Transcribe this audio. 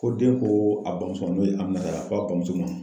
Ko den ko a bamuso n'o ye a a ba muso ma